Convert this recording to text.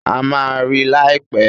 A máa rí i láìpẹ́.